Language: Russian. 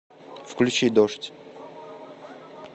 включи дождь